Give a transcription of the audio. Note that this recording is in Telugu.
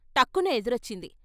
టక్కున ఎదురొచ్చింది.